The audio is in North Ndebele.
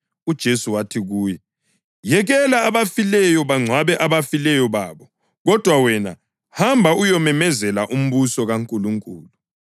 UJesu wathi kuyo, “Yekela abafileyo bangcwabe abafileyo babo, kodwa wena hamba uyememezela umbuso kaNkulunkulu.”